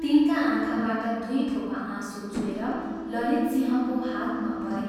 तिनका आँखाबाट दुइ थोपा आँसु चुहेर ललितसिंहको हातमा परे।